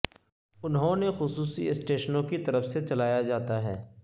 انہوں نے خصوصی اسٹیشنوں کی طرف سے چلایا جاتا ہے